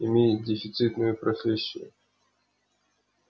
имеет дефицитную профессию